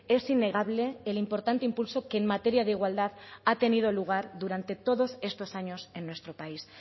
es innegable el importante impulso que en materia de igualdad ha tenido lugar durante todos estos años en nuestro país